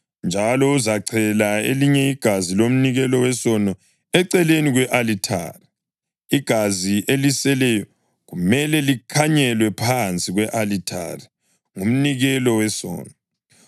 njalo uzachela elinye igazi lomnikelo wesono eceleni kwe-alithari; igazi eliseleyo kumele likhanyelwe phansi kwe-alithari. Ngumnikelo wesono.